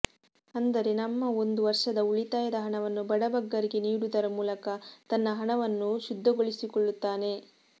ಅಂದರೆ ನಮ್ಮ ಒಂದು ವರ್ಷದ ಉಳಿತಾಯದ ಹಣವನ್ನು ಬಡಬಗ್ಗರಿಗೆ ನೀಡುವುದರ ಮೂಲಕ ತನ್ನ ಹಣವನ್ನು ಶುದ್ಧಗೊಳಿಸಿಕೊಳ್ಳುತ್ತಾನೆ